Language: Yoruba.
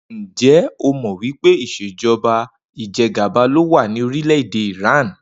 Ǹjé̩ o mò̩ wí pé ìs̩èjo̩ba ìje̩gàba ló wà ní orílè̩-èdè Iran?